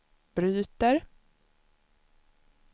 bryter